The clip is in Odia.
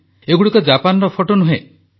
ଏଗୁଡ଼ିକ ଜାପାନର ଫଟୋ ନୁହେଁ